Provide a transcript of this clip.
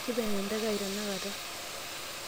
kiipang' enteke ai tenakata